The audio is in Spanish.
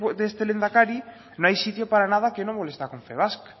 de este lehendakari no hay sitio para nada que no moleste a confebask